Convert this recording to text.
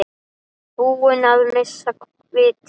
Búin að missa vitið?